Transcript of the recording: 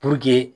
Puruke